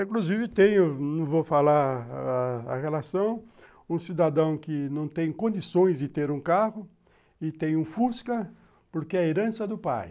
Inclusive, tenho, não vou falar a relação, um cidadão que não tem condições de ter um carro e tem um Fusca porque é herança do pai.